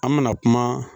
An mɛna kuma